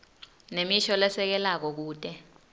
nemisho lesekelako kute